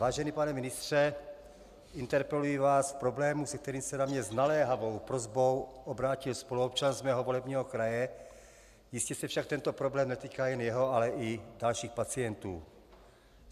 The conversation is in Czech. Vážený pane ministře, interpeluji vás v problému, se kterým se na mě s naléhavou prosbou obrátil spoluobčan z mého volebního kraje, jistě se však tento problém netýká jen jeho, ale i dalších pacientů.